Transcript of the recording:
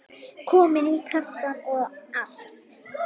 Komin í kassann og allt.